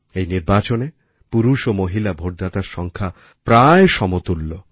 এই নির্বাচনে পুরুষ ও মহিলা ভোটদাতার সংখ্যা প্রায় সমতুল্য